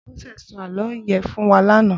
Bose sò àlõ yèn fún wà làná